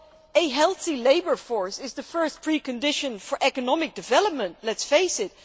A healthy labour force is the first precondition for economic development, let us face it.